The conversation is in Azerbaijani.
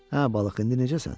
Hə balıq, indi necəsən?